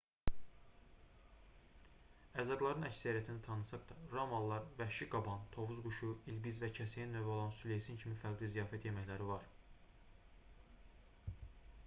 ərzaqlarının əksəriyyətini tanısaq da romalılar vəhşi qaban tovuz quşu ilbiz və kəsəyən növü olan süleysin kimi fərqli ziyafət yeməkləri var